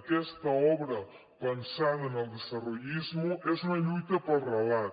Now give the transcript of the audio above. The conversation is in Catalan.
aquesta obra pensada en el desarrollismo és una lluita pel relat